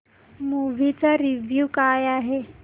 movie चा review काय आहे